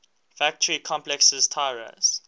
factory complexes tiraz